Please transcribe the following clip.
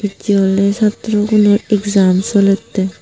ecchey awley satro gunor exam solette.